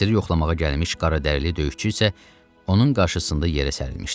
Əsiri yoxlamağa gəlmiş qaradərili döyüşçü isə onun qarşısında yerə sərilmişdi.